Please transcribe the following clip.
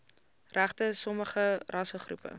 regte sommige rassegroepe